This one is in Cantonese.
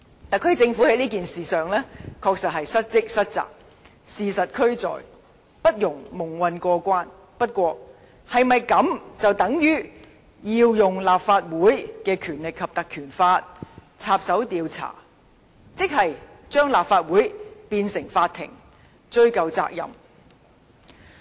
特區政府在事件上確實失職失責，事實俱在，不容蒙混過關，但我們是否便要運用《立法會條例》插手調查，把立法會變成法庭，追查責任呢？